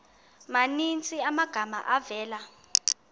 maninzi amagama avela